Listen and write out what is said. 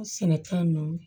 Sɛnɛta ninnu